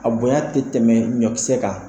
A bonya tɛ tɛmɛ ɲɔkisɛ kan.